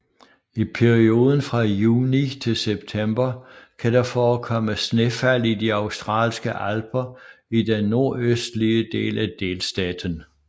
I perioden fra juni til september kan der forekomme snefald i de Australske Alper i den nordøstlige den af delstaten